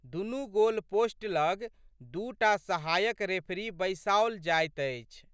दुनू गोलपोस्ट लग दू टा सहायक रेफरी बैसाओल जाइत अछि।